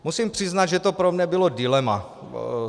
Musím přiznat, že to pro mne bylo dilema.